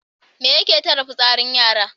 Me yake tare fitsarin yara?